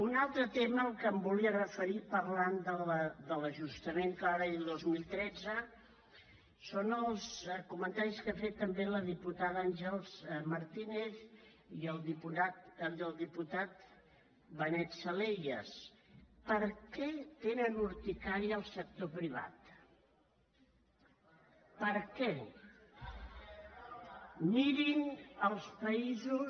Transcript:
un altre tema al que em volia referir parlant de l’ajustament que va haver hi el dos mil tretze són els comentaris que han fet també la diputada àngels martínez i el diputat benet salellas per què tenen urticària al sector privat per què mirin els països